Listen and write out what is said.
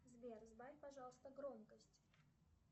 сбер сбавь пожалуйста громкость